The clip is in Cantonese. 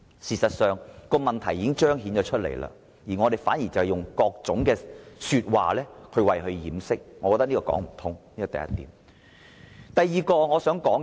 事實上，問題已經彰顯出來，如我們以各種理由掩飾，根本就是說不通的，這是第一點。